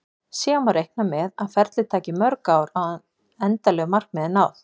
Síðan má reikna með að ferlið taki mörg ár áður en endanlegu markmiði er náð.